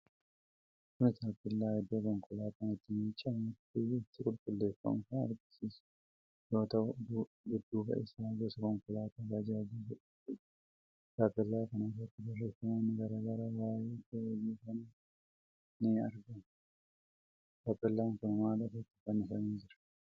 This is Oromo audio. Kun Taappellaa Iddoo konkolaataan itti miicamuufi itti qulqulleeffamu kan agarsiisu yoo ta'u, Dudduuba isaa gosa konkolaataa baajaajii jedhamtutu jira. Taappellaa kana irratti barreeffamoonni garaa garaa waa'ee iddoo hojii kanaa himan ni argamu. Taappellaan kun maal irratti fannifamee jira?